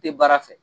Tɛ baara fɛ